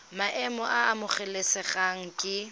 maemo a a amogelesegang ke